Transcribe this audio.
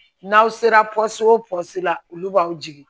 N'aw sera o la olu b'aw jigin